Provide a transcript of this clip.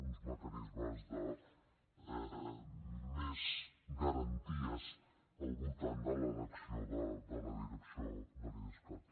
uns mecanismes de més garanties al voltant de l’elecció de la direcció de l’idescat